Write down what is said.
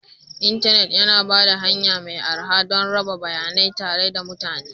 Intanit yana ba da hanya mai arha don raba bayanai tare da mutane